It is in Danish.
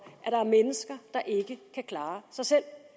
at der er mennesker der ikke kan klare sig selv